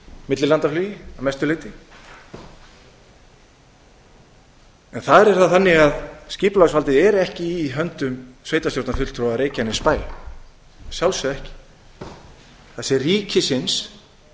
millilandaflugi að mestu leyti en þar er það þannig að skipulagsvaldið er ekki í höndum sveitarstjórnarfulltrúa reykjanesbæjar að sjálfsögðu ekki það sé ríkisins